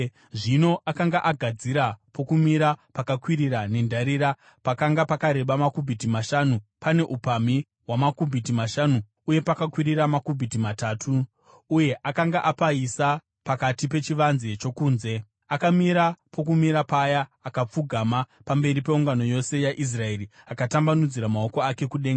Zvino akanga agadzira pokumira pakakwirira nendarira, pakanga pakareba makubhiti mashanu , pane upamhi hwamakubhiti mashanu uye pakakwirira makubhiti matatu , uye akanga apaisa pakati pechivanze chokunze. Akamira pokumira paya akapfugama pamberi peungano yose yaIsraeri akatambanudzira maoko ake kudenga.